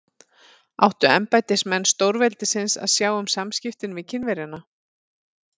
Áttu embættismenn stórveldisins að sjá um samskiptin við Kínverjana?